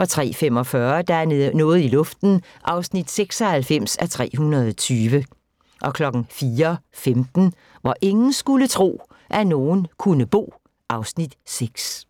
03:45: Der er noget i luften (96:320) 04:15: Hvor ingen skulle tro, at nogen kunne bo (Afs. 6)